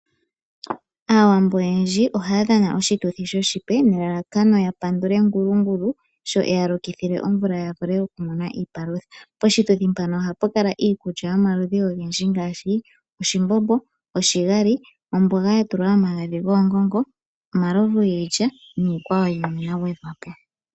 Aawambo oyendji ohaya dhana oshituthi shoshipe, nelalakano yapandule Ngulungulu sho eyalokithile omvula yavule okumonamo iipalutha. Poshituthi mpano ohapu kala iikulya yomaludhi ogendji ngaashi oshimbombo, oshigali, omboga yatulwa omagadhi goongongo, omalovu giilya niikwawo yimwe yagwedhwa po.